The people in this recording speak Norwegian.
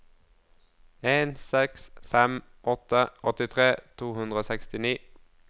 en seks fem åtte åttitre to hundre og sekstini